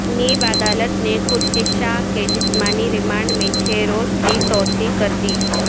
NAB عدالت نے خورشید شاہ کے جسمانی ریمانڈ میں چھ روز کی توسیع کر دی